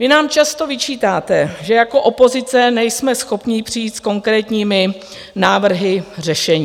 Vy nám často vyčítáte, že jako opozice nejsme schopni přijít s konkrétními návrhy řešení.